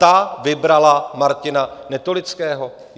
Ta vybrala Martina Netolického.